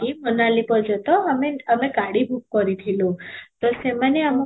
ମୋନାଲି ପର୍ଯ୍ୟନ୍ତ ଆମେ ଆମେ ଗାଡ଼ି book କରିଥିଲୁ, ତ ସେମାନେ ଆମକୁ